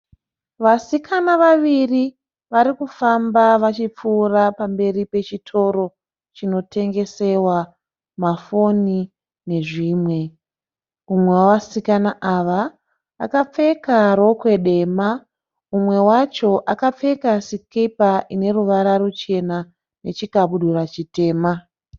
Vasikana vaviri vari kufamba vachipfuura pamberi pechitoro chinotengesewa mafoni nezvimwe. Umwe wevasikana ava akapfeka rokwe dema. Umwe wacho akapfeka sikipa inoruvara ruchena nechikabudura chitema.